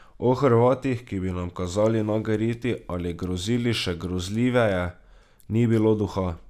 O Hrvatih, ki bi nam kazali nage riti ali grozili še grozljiveje, ni bilo duha.